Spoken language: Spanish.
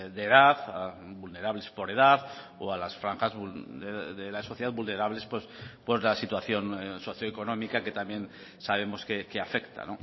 de edad vulnerables por edad o a las franjas de la sociedad vulnerables por la situación socioeconómica que también sabemos que afecta